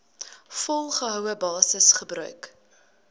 volgehoue basis gebruik